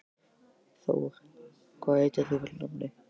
Thor, hvað heitir þú fullu nafni?